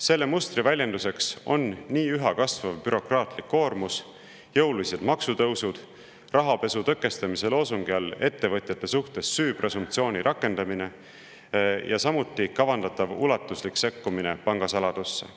Selle mustri väljenduseks on üha kasvav bürokraatlik koormus, jõulised maksutõusud, rahapesu tõkestamise loosungi all ettevõtjate suhtes süü presumptsiooni rakendamine ja samuti kavandatav ulatuslik sekkumine pangasaladusse.